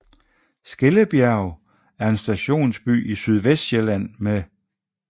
Skellebjerg er en stationsby i Sydvestsjælland med